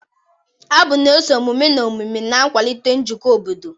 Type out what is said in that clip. Abụ na-eso emume na emume, na-akwalite njikọ obodo.